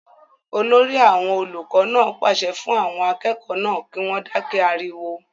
olórí àwọn olùkọ náà pàṣẹ fún àwọn akẹ́kọ̀ọ́ náà kí wọ́n dákẹ́ ariwo